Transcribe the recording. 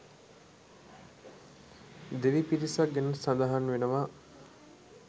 දෙවි පිරිසක් ගැනත් සඳහන් වෙනවා.